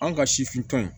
An ka sifin tɔ in